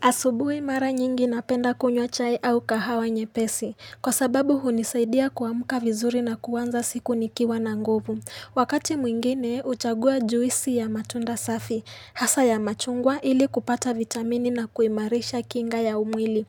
Asubuhi mara nyingi napenda kunywa chai au kahawa nyepesi, kwa sababu hunisaidia kuamka vizuri na kuanza siku nikiwa na ngovu. Wakati mwingine, uchagua juisi ya matunda safi, hasa ya machungwa ili kupata vitamini na kuimarisha kinga ya umwili.